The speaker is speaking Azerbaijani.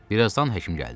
Bir azdan həkim gəldi.